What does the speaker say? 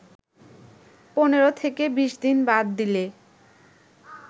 ১৫-২০ দিন বাদ দিলে